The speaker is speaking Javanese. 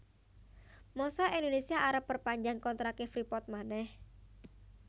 mosok Indonesia arep perpanjang kontrak e Freeport maneh